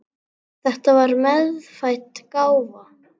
Þetta var meðfædd gáfa.